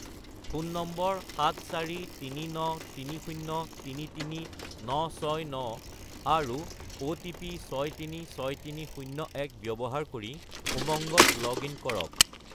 Phone number 74393033969 আৰু OTP 636301 ব্যৱহাৰ কৰি উমংগত লগ-ইন কৰক।